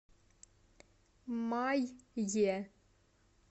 май е